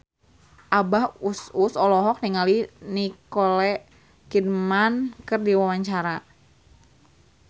Abah Us Us olohok ningali Nicole Kidman keur diwawancara